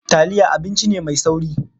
Taliya abinci ne mai sauri.